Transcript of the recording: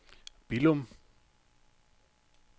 Billum